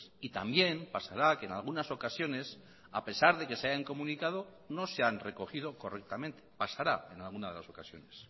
y también pasará que en algunas ocasiones a pesar de que se hayan comunicado no se han recogido correctamente pasará en alguna de las ocasiones